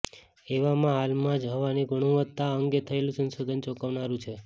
એવામાં હાલમાં જ હવાની ગુણવત્તા અંગે થયેલુ સંશોધન ચોંકાવનારુ છે